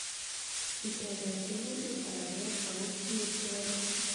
kitebe tyemutik alaken aku kiet kowolu